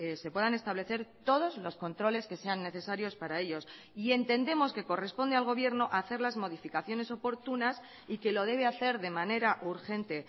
se puedan establecer todos los controles que sean necesarios para ellos y entendemos que corresponde al gobierno hacer las modificaciones oportunas y que lo debe hacer de manera urgente